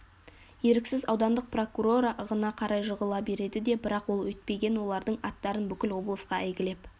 еріксіз аудандық прокурора ығына қарай жығыла береді де бірақ ол өйтпеген олардың аттарын бүкіл облысқа әйгілеп